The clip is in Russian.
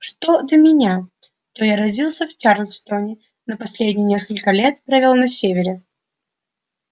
что до меня то я родился в чарльстоне но последние несколько лет провёл на севере